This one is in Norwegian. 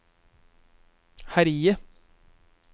herje